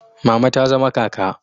Mama ta zama kaka